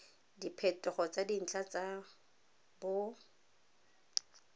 diphetogo tsa dintlha tsa bot